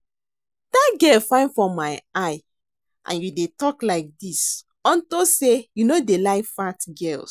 Dat girl fine for my eye and you dey talk like dis unto say you no dey like fat girls